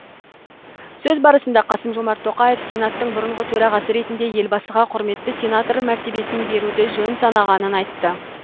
сөз барысында қасым жомарт тоқаев сенаттың бұрынғы төрағасы ретінде елбасыға құрметті сенатор мәртебесін беруді жөн санағанын айтты